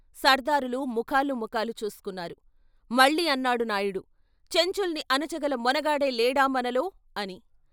సర్దారులు ముఖాలు ముఖాలు చూసుకున్నారు, మళ్ళీ అన్నాడు నాయుడు చెంచుల్ని అణచగల మొనగాడే లేడా మనలో అని.